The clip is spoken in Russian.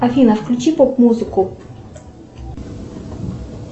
афина включи поп музыку